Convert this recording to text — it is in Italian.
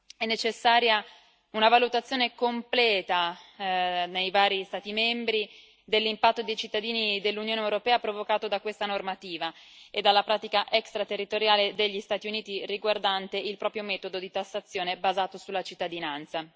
È necessaria una valutazione completa nei vari Stati membri dell'impatto sui cittadini dell'Unione europea provocato da questa normativa e dalla pratica extraterritoriale degli Stati Uniti riguardante il proprio metodo di tassazione, basato sulla cittadinanza.